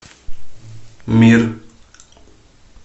мир